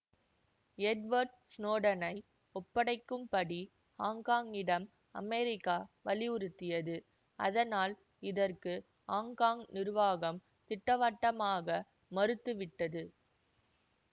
Edward ஸ்னோடனை ஒப்படைக்கும் படி ஹாங்ஹாங்கிடம் அமெரிக்கா வலியுறுத்தியது ஆதனால் இதற்கு ஹாங்ஹாங் நிர்வாகம் திட்டவட்டமாக மறுத்து விட்டது